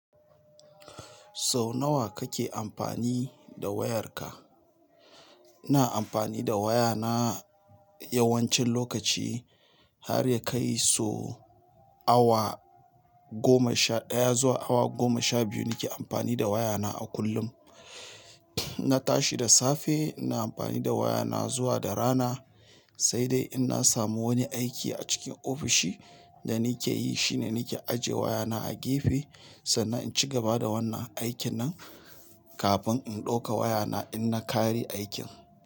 Sau nawa kake amfani da wayarka? Ina amfani da wayana yawancin lokaci har ya kai so awa goma sha ɗaya zuwa awa goma sha biyu nake amfani da wayana a kullum. In na tashi da safe, ina amfani da wayana zuwa da rana. Sai dai in na samu wani aiki acikin ofishi da nake yi shine nake ajiye wayana a gefe sannan in ci gaba da wannan aikin nan kafin in ɗauka wayana in na ƙare aikin.